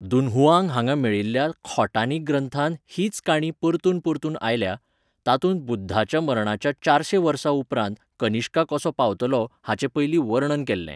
Dunhuang हांगा मेळिल्ल्या खोटानी ग्रंथांत हीच काणी परतून परतून आयल्या, तातूंत बुध्दाच्या मरणाच्या चारशें वर्सां उपरांत कनिष्का कसो पावतलो हाचे पयलीं वर्णन केल्लें.